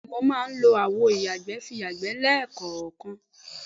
Bé̩è̩ni ooo, o máa ń lo àwo ìyàgbẹ́ fi yàgbé̩ lé̩kò̩ò̩kan